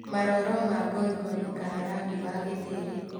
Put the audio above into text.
Maroro ma ngoikoni kana rangi wa gĩtĩĩri